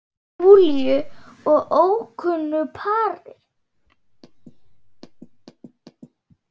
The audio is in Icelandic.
Júlíu og ókunnu pari.